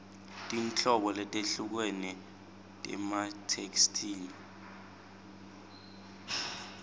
tinhlobo letehlukene tematheksthi